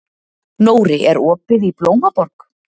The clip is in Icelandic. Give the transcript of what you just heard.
Nóri, er opið í Blómaborg?